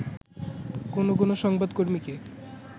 কোন কোন সংবাদকর্মীকে